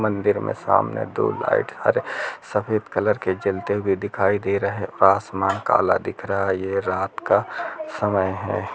मंदिर में सामने दो लाइट हरे सफेद कलर के जलते दिखाई दे रहे है और आसमान काला दिख रहा है यह रात का समय है।